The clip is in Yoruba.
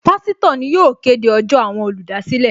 Pásítọ̀ ni yóò kéde ọjọ́ àwọn olùdásílẹ̀